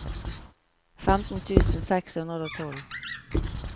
femten tusen seks hundre og tolv